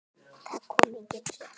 Það komu engin svör.